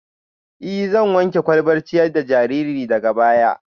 Ee, zan wanke kwalbar ciyar da jariri daga baya